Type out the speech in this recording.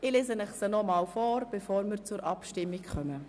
Ich lese Ihnen den Antrag vor, bevor wir zur Abstimmung kommen: